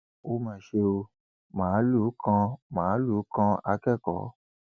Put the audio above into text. ó mà ṣe ò máàlùú kan máàlùú kan akẹkọọ